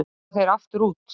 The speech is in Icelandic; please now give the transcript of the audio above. Fara þeir aftur út